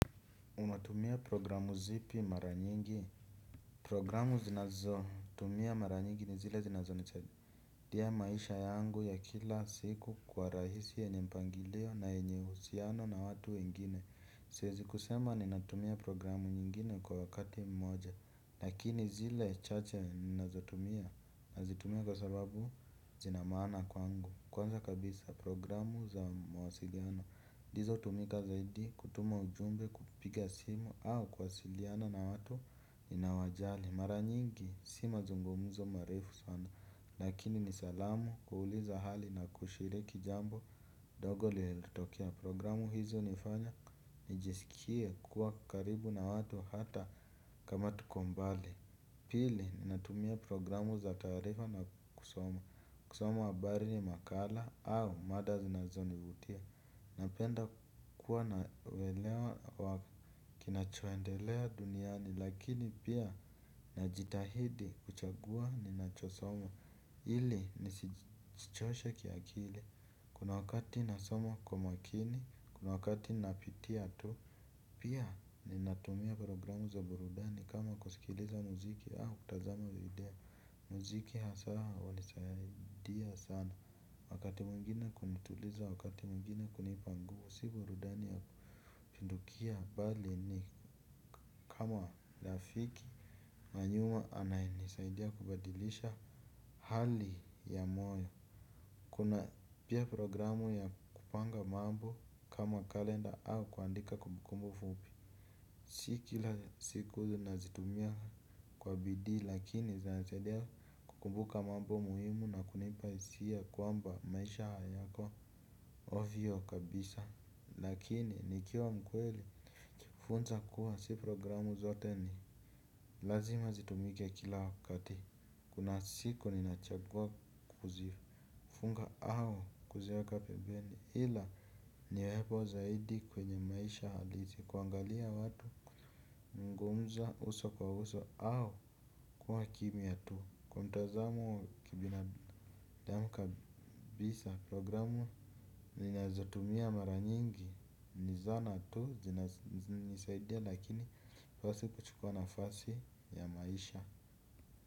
Unatumia programu zipi mara nyingi? Programu zinazotumia mara nyingi ni zile zinazonichaidia maisha yangu ya kila siku kwa rahisi yenye mpangilio na yenye uhusiano na watu wengine. Siezi kusema ninatumia programu nyingine kwa wakati mmoja lakini zile chache ninazotumia nazitumia kwa sababu zina maana kwangu. Kwanza kabisa programu za mawasiliano dizo hutumika zaidi kutuma ujumbe kupiga simu au kuwasiliana na watu ninaowajali. Mara nyingi si mazungumuzo marefu sana. Lakini ni salamu kuuliza hali na kushiriki jambo dogo lielotokea programu hizi hunifanya nijisikie kuwa karibu na watu hata kama tuko mbali. Pili natumia programu za taarifa na kusoma kusoma habari makala au mada zinazonivutia. Napenda kuwa na uelewa wa kinachoendelea duniani. Lakini pia najitahidi kuchagua ninachosoma ili nisijichoshe kiakile. Kuna wakati nasoma kwa makini. Kuna wakati napitia tu. Pia ninatumia programu za burudani kama kusikiliza muziki au kutazama video. Muziki hasa walisaidia sana. Wakati mwingine kunituliza wakati mwingine kunipa nguvu si burudani ya kupindukia bali ni kama lafiki manyuma anayenisaidia kubadilisha hali ya moyo. Kuna pia programu ya kupanga mambo kama kalenda au kuandika kumbukumbo fupi. Si kila siku nazitumia kwa bidii lakini zinanisaidia kukumbuka mambo muhimu na kunipa hisia kwamba maisha hayako ovyo kabisa. Lakini nikiwa mkweli funza kuwa si programu zote ni lazima zitumike kila wakati kuna siku ninachagua kuzifunga au kuziweka pembeni ila niwepo zaidi kwenye maisha halisi kuangalia watu kuzungumza uso kwa uso au kuwa kimya tu kwa mtazamo wa kibina damu kabisa programu ninazotumia mara nyingi ni zana tu zinanisaidia lakini fasi kuchukua nafasi ya maisha.